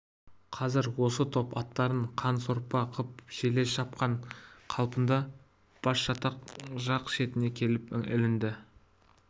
қазір осы топ аттарын қан сорпа қып желе шапқан қалпында басжатақ жақ шетіне келіп ілінді